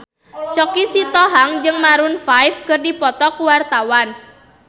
Choky Sitohang jeung Maroon 5 keur dipoto ku wartawan